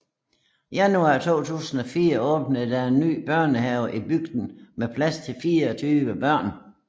Januar 2004 åbnede der en ny børnehave i bygden med plads til 24 børn